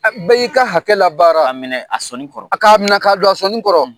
bɛɛ y'i ka hakɛ labaara , k'a minɛ a sɔni kɔrɔ, a k'a minɛ k'a don a sɔni kɔrɔ.